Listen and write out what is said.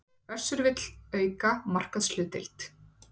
Össur vill auka markaðshlutdeild